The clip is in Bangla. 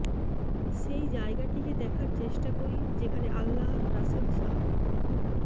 সেই জায়গাটিকে দেখার চেষ্টা করি যেখানে আল্লাহর রাসুল সা